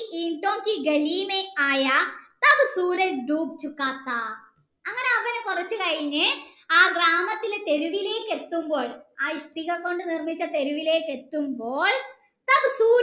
അങ്ങനെ അവൻ കൊറച്ചു കഴിഞ്ഞ് ആ ഗ്രാമത്തിലെ തെരുവിലേക് എത്തുമ്പോൾ ആ ഇഷ്ടിക കൊണ്ട് നിർമിച്ച തെരുവിലേക് എത്തുമ്പോൾ